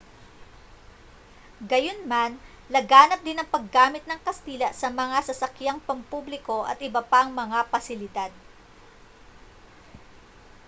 gayunman laganap din ang paggamit ng kastila sa mga sasakyang pampubliko at iba pang mga pasilidad